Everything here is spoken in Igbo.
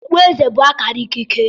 Okpueze bụ akara ikike